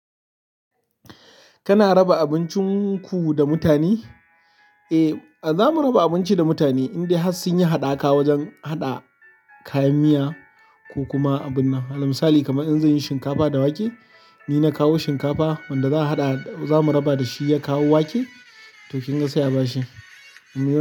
Kana raba abincin ku da mutane? Eh, za mu raba abinci da mutane, indai har sun yi haɗaka wajen haɗa kayan miya ko kuma abin na. Alal misali kamar in zab yi shinkafa da wake, ni na kawo shinkafa wanda za a haɗa, za mu raba da shi ya kawo wake, to kin ga sai a bashi. Mun yi.